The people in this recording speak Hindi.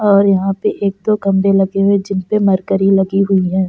और यहाँ पे एक दो खंभे लगी हुई है। जिन पे मरकरी लगी हुई है।